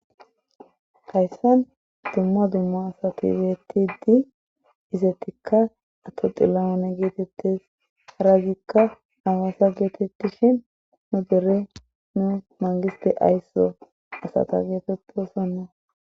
Hayssan dumma dumma asa betiddi izettikka ato xillaane geetettes haragikka awaasa geetettishin nu gere nu mangiste aysso asata geetettosonna.